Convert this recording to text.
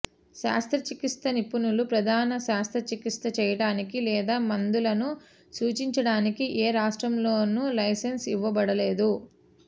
శస్త్రచికిత్స నిపుణులు ప్రధాన శస్త్రచికిత్స చేయటానికి లేదా మందులను సూచించడానికి ఏ రాష్ట్రంలోనూ లైసెన్స్ ఇవ్వబడలేదు